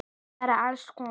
Bara alls konar.